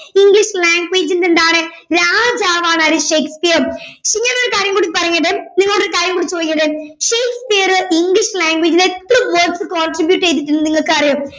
English language ൻ്റെ എന്താണ് രാജാവാണ് ആര് ഷേക്സ്പിയർ ഇങ്ങനൊരു കാര്യം കൂടി പറഞ്ഞത് നിങ്ങളോടി ഒരു കാര്യം കൂടി ചോയ്ക്കട്ടെ ഷേക്സ്പിയർ ഇംഗ്ലീഷ് language ൽ എത്ര words contribute ചെയ്തിട്ടുണ്ടെന്ന് നിങ്ങൾക്കറിയുവോ